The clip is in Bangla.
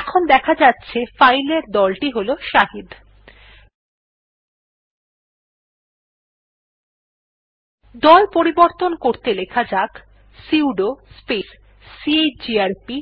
এখন দেখা যাছে ফাইল এর দলটি হল শাহিদ দল পরিবর্তন করতে লেখা যাক সুদো স্পেস চিজিআরপি